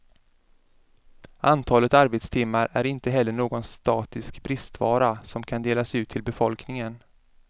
Antalet arbetstimmar är inte heller någon statisk bristvara som kan delas ut till befolkningen.